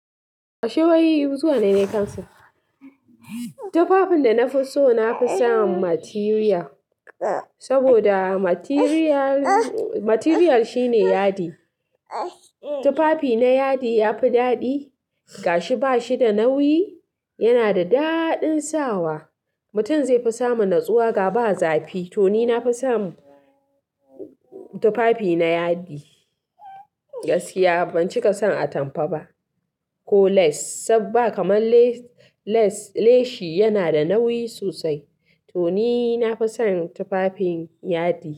Kashi waye yayi zuwa na yi kansa? Tufafin da na fi so na fi son material, saboda material shine yadi. Tufafi na yadi ya fi daɗi ga shi ba shi da nauyi, yana da daɗin sawa, mutum zai fi samu natsuwa ga ba zafi. To ni na fi son tufafi na yadi, gaskiya ban cika son atamfa ba ko lace saboda kamar lace shi yana da nauyi sosai. To ni na fi son tufafin yadi.